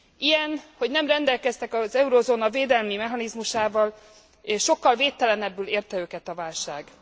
Ilyen, hogy nem rendelkeztek az eurozóna védelmi mechanizmusával és sokkal védtelenebbül érte őket a válság.